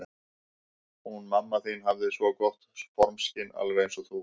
Hún mamma þín hafði svo gott formskyn, alveg eins og þú.